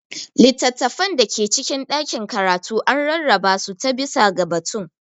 Littattafan da ke cikin ɗakin karatu an rarraba su ta/bisa ga batun.